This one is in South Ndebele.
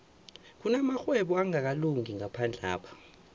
kunamarhwebo angakalungi ngaphandlapha